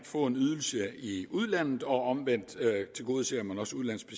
få en ydelse i udlandet og omvendt tilgodeser man også udenlandske